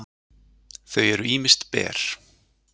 þau eru ýmist ber